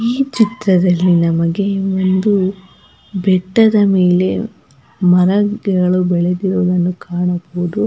ಈ ಚಿತ್ರದಲ್ಲಿ ನಮಗೆ ಒಂದು ಬೆಟ್ಟದ ಮೇಲೆ ಮರಗಳು ಬೆಳೆದಿರುವುದನ್ನು ಕಾಣಬಹುದು.